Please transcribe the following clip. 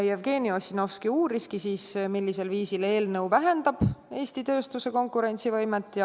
Jevgeni Ossinovski uuris, millisel viisil eelnõu vähendab Eesti tööstuse konkurentsivõimet.